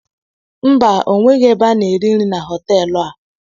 Mba onweghi ebe ana ere nri na hotelu a.